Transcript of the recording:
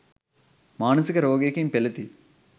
මානසික රෝගයකින් පෙළෙති.